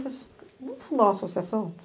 Vamos fundar uma associação?